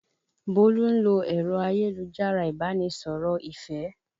Bólú ń lo ẹ̀rọ ayélujára Ìbánisọ̀rọ̀ ìfẹ́